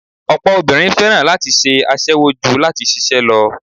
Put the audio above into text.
Ọ̀pọ̀ obìnrin fẹ́ràn láti ṣe aṣẹwó ju láti ṣiṣẹ́ lọ